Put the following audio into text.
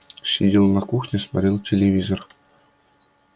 сидел на кухне смотрел телевизор